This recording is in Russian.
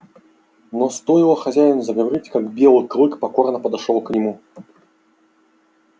но стоило хозяину заговорить как белый клык покорно подошёл к нему